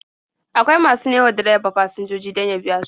Akwai masu nemo wa direba fasinjoji don ya biya su.